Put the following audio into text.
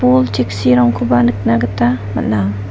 bol cheksirangkoba nikna gita man·a.